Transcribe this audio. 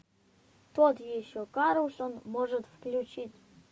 тот еще карлсон может включить